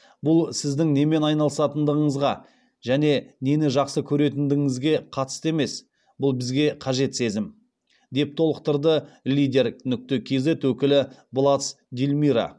бұл сіздің немен айналысатындығыңызға және нені жақсы көретіндігіңізге қатысты емес бұл бізге қажет сезім деп толықтырды лидер кз өкілі блац дильмира